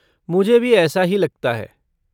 मुझे भी ऐसा ही लगता है।